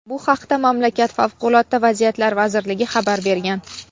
Bu haqda mamlakat Favqulodda vaziyatlar vazirligi xabar bergan.